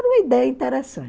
Era uma ideia